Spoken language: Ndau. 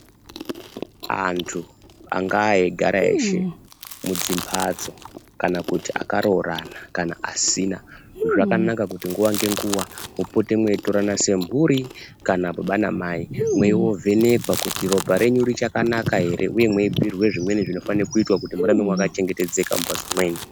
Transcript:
Antu angaa eigara eshe mudzimhatso kana akaroorana kana vasina zvakanaka kuti mupote mweitorana semhuri kana baba namai kweindovhenekwa kuti ropa renyu richakanaka ere uye mweibhuirwe zvimweni zvinofanire kuitika kuti mugare makachengetedzeka mumhatso mwenyu.